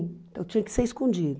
Então tinha que ser escondido.